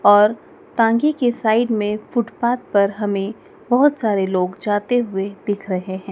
और तांगे के साइड मे फुटपाथ पर हमे बहोत सारे लोग जाते हुए दिख रहे हैं।